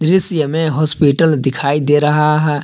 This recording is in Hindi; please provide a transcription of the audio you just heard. इस ये में हॉस्पिटल दिखाई दे रहा है।